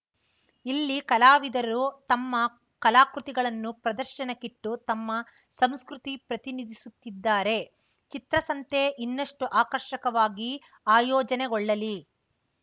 ಇಲ್ಲಿ ಕಲಾವಿದರು ತಮ್ಮ ಕಲಾಕೃತಿಗಳನ್ನು ಪ್ರದರ್ಶನಕ್ಕಿಟ್ಟು ತಮ್ಮ ಸಂಸ್ಕೃತಿ ಪ್ರತಿನಿಧಿಸುತ್ತಿದ್ದಾರೆ ಚಿತ್ರಸಂತೆ ಇನ್ನಷ್ಟುಆಕರ್ಷಕವಾಗಿ ಆಯೋಜನೆಗೊಳ್ಳಲಿ